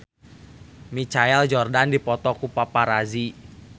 Michael Jordan dipoto ku paparazi